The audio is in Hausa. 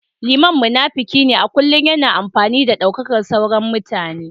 Liman munafiki ne a kullum yana amfani da daukakar sauran mutane